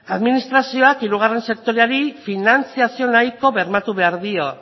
administrazioak hirugarren sektoreari finantziazio nahiko bermatu behar dio